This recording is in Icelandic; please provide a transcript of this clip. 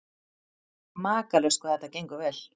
Makalaust hvað þetta gengur vel.